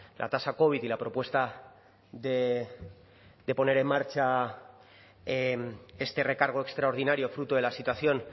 la tasa covid y la propuesta de poner en marcha este recargo extraordinario fruto de la situación